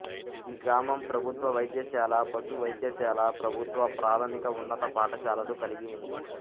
ఈ గ్రామం ప్రభుత్వ వైద్యశాల పశు వైద్యశాల ప్రభుత్వ ప్రాథమిక ఉన్నత పాఠశాలలు కలిగిఉంది